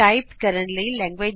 ਸ਼ਬਦਾਂ ਦੀ ਇਕ ਲਿਸਟ ਬਨਾਇਏ